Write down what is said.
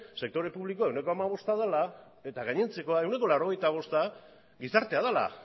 sektore publikoa ehuneko hamabost dela eta gainontzekoa ehuneko laurogeita bosta gizartea dela